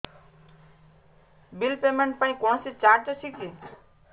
bill payment ପାଇଁ କୌଣସି charge ଅଛି କି